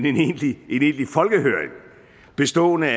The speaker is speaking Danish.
en egentlig folkehøring bestående